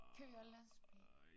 Kører lastbil